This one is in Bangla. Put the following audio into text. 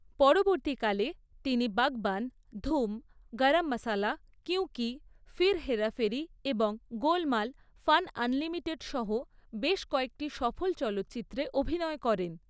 পরবর্তীকালে, তিনি 'বাগবান', 'ধুম', 'গরম মাসালা', 'কীয়ু কি', 'ফির হেরা ফেরি' এবং 'গোলমাল ফান আনলিমিটেড' সহ বেশ কয়েকটি সফল চলচ্চিত্রে অভিনয় করেন।